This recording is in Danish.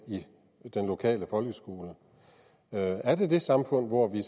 i den lokale folkeskole er det det samfund hvor vi